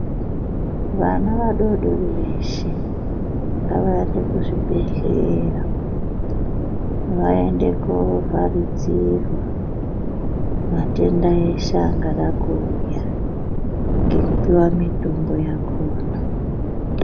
Vana vadodori veshe ngavaende kuzvibhedhlera vaende kovharidzirwa mitenda yeshe inode kuuya nekuti inotangire kuvana.